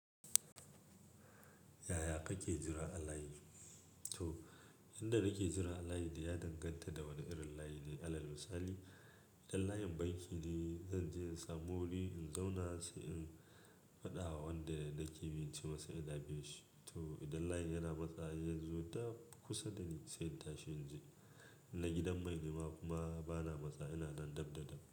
Yaya kake jira a layi? To, yadda nake jira a layi dai ya danganta da wane irin layi ne. Alal misali, idan layin banki ne, zanje in samu wuri in zauna sai in faɗa wa wanda nake bi na cemasa ina bin shi. To idan layi yana matsawa har yazo daf kusa dani sai in tashi in je. In na gidan mai kuma bana matsa ina nan dab da dab.